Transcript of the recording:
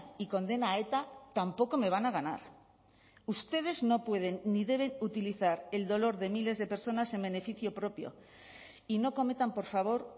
y condena a eta tampoco me van a ganar ustedes no pueden ni deben utilizar el dolor de miles de personas en beneficio propio y no cometan por favor